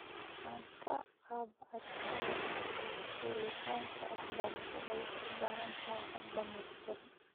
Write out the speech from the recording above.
Wax ka qabashada khilaafaadka waxbarasho waxay u baahan tahay hab dhammaystiran.